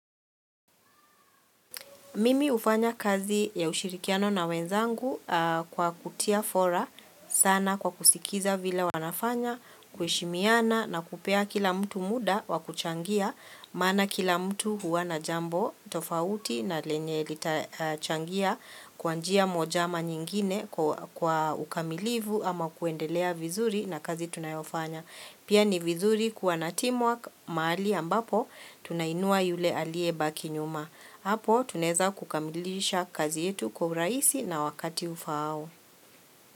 Mimi hufanya kazi ya ushirikiano na wenzangu kwa kutia fora sana kwa kusikiza vila wanafanya, kuheshimiana na kupea kila mtu mda wa kuchangia, mana kila mtu huwa na jambo tofauti na lenye litachangia kwanjia mojama nyingine kwa ukamilivu ama kuendelea vizuri na kazi tunayofanya. Pia ni vizuri kuwa na teamwork mahali ambapo tunainua yule alie baki nyuma. Apo tunaeza kukamilisha kazi yetu kwa urahisi na wakati ufao.